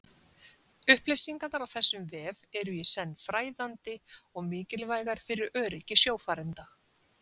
upplýsingarnar á þessum vef eru í senn fræðandi og mikilvægar fyrir öryggi sjófarenda